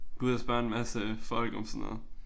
Gå ud og spørge en masse folk om sådan noget